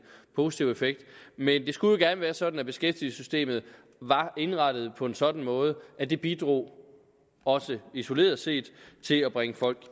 positiv effekt men det skulle gerne være sådan at beskæftigelsessystemet var indrettet på en sådan måde at det bidrog også isoleret set til at bringe folk